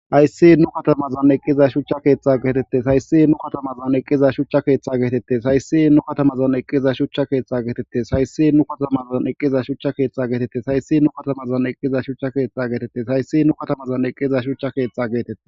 hayssi nu katamazoa eqqiza shuchcha keeththa geetettes hayssi nu katamazan eqqiza shuchcha keeththa geetettes hayssi nu katamazon eqqiza shucha keeththa geetettes hayssi nu katamazon eqqiza shucha keeththa geetettes hayssi nu katamazon eqqiza shuchcha keeththa geetettes hayssi nu katamazon eqqiza shuchcha keeththa geetetes